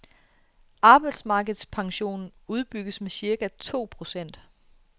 Arbejdsmarkedspensionen udbygges med cirka to procent.